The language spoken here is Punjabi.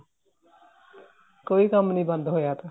ਕੋਈ ਕੰਮ ਨਹੀਂ ਬੰਦ ਹੋਇਆ ਤਾ